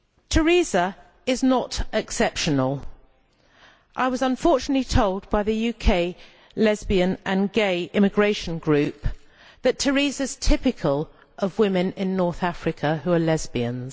Teresa is not exceptional. I was unfortunately told by the UK Lesbian and Gay Immigration Group that Teresa is typical of women in North Africa who are lesbians.